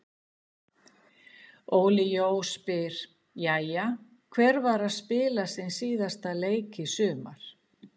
Óli Jó spyr: Jæja, hver var að spila sinn síðasta leik í sumar?